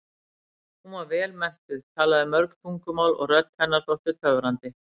Hún var vel menntuð, talaði mörg tungumál og rödd hennar þótti töfrandi.